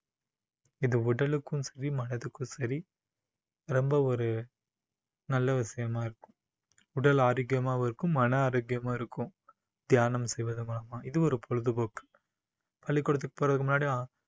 இது உடலுக்கும் சரி மனதுக்கும் சரி ரொம்ப ஒரு நல்ல விஷயமா இருக்கும் உடல் ஆரோக்கியமாகவும் இருக்கும் மன ஆரோக்கியமாகவும் இருக்கும் தியானம் செய்வது மூலமா இது ஒரு பொழுதுபோக்கு பள்ளிக்கூடத்துக்கு போறதுக்கு முன்னாடி